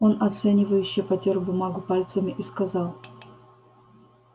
он оценивающе потёр бумагу пальцами и сказал